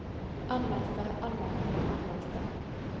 anmeldte anmeldte anmeldte